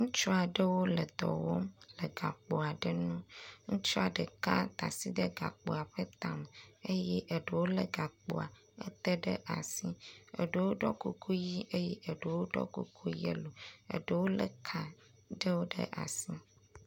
Ŋutsu aɖewo le dɔ wɔm le gakpo aɖe nu, ŋutsua ɖeka da asi ɖe gakpoa ƒe tame eye eɖewo lé gakpoa ɖewo ɖe asi, eɖewo ɖɔ kuku ʋɛ̃ eye eɖewo ɖɔ kuku yelo, eɖewo lé ka ɖewo ɖe asi.